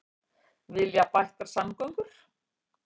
Vilja bættar samgöngur